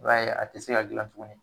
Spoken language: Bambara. I b'a ye, a te se ka gilan tuguni .